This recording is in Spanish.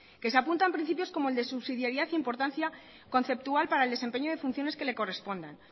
que se apuntan principios como el de subsidiariedad e importancia conceptual para el desempeño de funciones que le correspondan